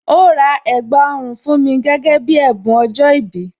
Ó rà ẹ̀gbà ọrùn fún mi gẹ́gẹ́ bí ẹ̀bùn ọjọ́ ìbí